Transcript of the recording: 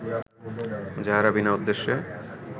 যাঁহারা বিনা উদ্দেশ্যে